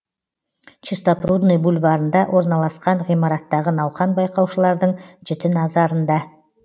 чистопрудный бульварында орналасқан ғимараттағы науқан байқаушылардың жіті наразарында